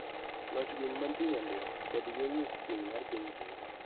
Loch gweng' mantie nyandwat kod yo wuokchieng' mar piny Kenya.